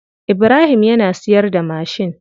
Ibrahim yana siyarda mashin.